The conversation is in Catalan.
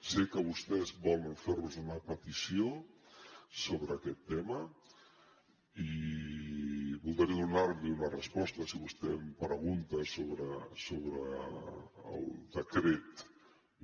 sé que vostès volen fer nos una petició sobre aquest tema i voldré donar li una resposta si vostè em pregunta sobre el decret